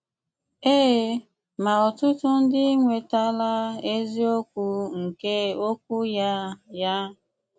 Ee, ma ọ̀tụtụ̀ ndị enwetala eziókwu nkè okwù ya. ya.